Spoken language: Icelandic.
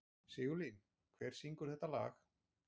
Sigurlín, hver syngur þetta lag?